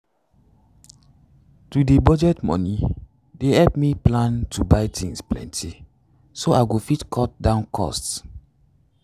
to budget moni dey help me plan to buy things plenty so i go fit cut down cost.